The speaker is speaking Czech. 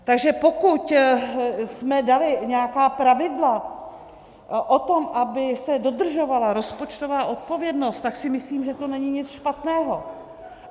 Takže pokud jsme dali nějaká pravidla o tom, aby se dodržovala rozpočtová odpovědnost, tak si myslím, že to není nic špatného.